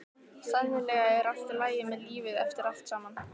Sennilega er allt í lagi með lífið eftir allt saman.